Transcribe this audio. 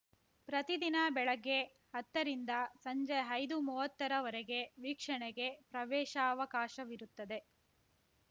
ಪ್ರತಿದಿನ ಬೆಳಗ್ಗೆ ಹತ್ತ ರಿಂದ ಸಂಜೆ ಐದುಮೂವತ್ತರವರೆಗೆ ವೀಕ್ಷಣೆಗೆ ಪ್ರವೇಶಾವಕಾಶವಿರುತ್ತದೆ